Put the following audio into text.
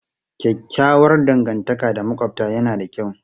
Kyakkyawar dangantaka da makwabta yana da kyau.